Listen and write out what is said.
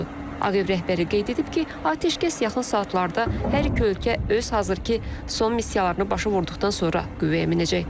Ağ ev rəhbəri qeyd edib ki, atəşkəs yaxın saatlarda hər iki ölkə öz hazırkı son missiyalarını başa vurduqdan sonra qüvvəyə minəcək.